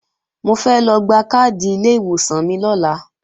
Mo fẹ́ lọ gba káàdì ilé ìwòsàn mi lọ́la